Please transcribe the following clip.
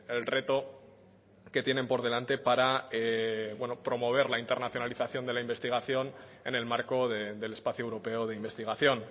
el reto que tienen por delante para promover la internacionalización de la investigación en el marco del espacio europeo de investigación